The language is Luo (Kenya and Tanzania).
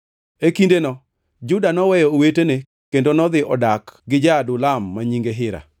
E kindeno, Juda noweyo owetene kendo nodhi odak gi ja-Adulam ma nyinge Hira.